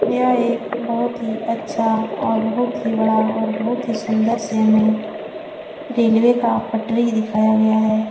यह एक बहुत ही अच्छा और बहुत ही बड़ा और बहुत ही सुंदर से हमें रेलवे का पटरी दिखाया गया है।